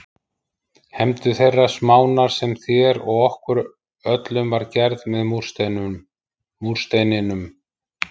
Hefndu þeirrar smánar sem þér og okkur öllum var gerð með múrsteininum.